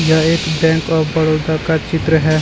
यह एक bank of Baroda का चित्र है।